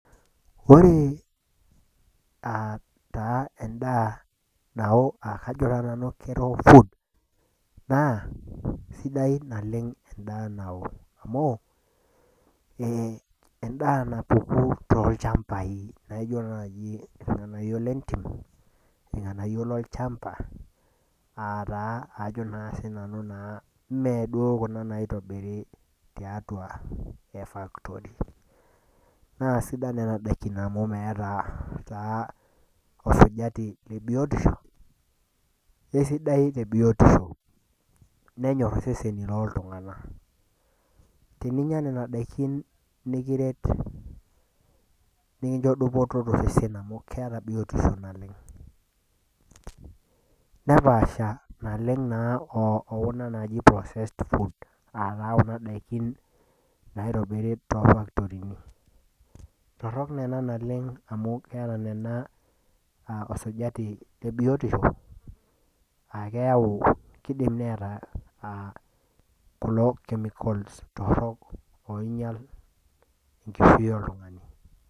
Oree aa taa endaa nao akajo na nanu food na kesidai oleng endaa nao amu endaa napuku tolchambai naijo nai irnganayio lentim ajo ataa ajo na sinanu medup kunabnaotobiri tiatua factory na kesidan nona dakini amu meeta na ninche biotisho esidai tebiotisho nenyor seseni loltunganak teninya nona dakini nikiret nikincho dupoto tosesen amu keeta biotisho naleng nepaasha naleng okuna naji processed food naitobiri to factorini torokamu keeta nona osajati lebiotosho na kidimai neeta kuna chemicals torok tenkishui oltungani.